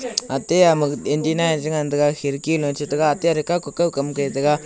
ate amaga intina chengan taiga khirki noi chetega ate arega kawka kawkam ke tega.